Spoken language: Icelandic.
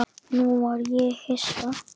Nú varð ég hissa.